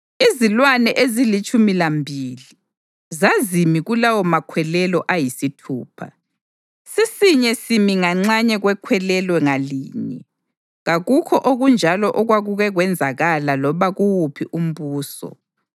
Izilwane ezilitshumi lambili zazimi kulawomakhwelelo ayisithupha, sisinye simi nganxanye kwekhwelelo ngalinye. Kakukho okunjalo okwakuke kwenzekala loba kuwuphi umbuso.